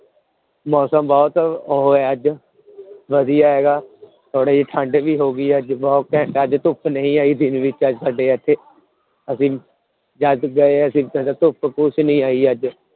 ਮੌਸਮ ਬਹੁਤ ਉਹ ਹੈ ਅੱਜ ਵਧੀਆ ਹੈਗਾ ਥੋੜ੍ਹੀ ਠੰਢ ਵੀ ਹੋ ਗਈ ਹੈ ਅੱਜ, ਬਹੁਤ ਘੈਂਟ ਅੱਜ ਧੁੱਪ ਨਹੀਂ ਆਈ ਦਿਨ ਵਿੱਚ ਅੱਜ ਸਾਡੇ ਇੱਥੇ, ਅਸੀਂ ਅਸੀਂ ਫਿਰ ਧੁੱਪ ਕੁਛ ਨੀ ਆਈ ਅੱਜ।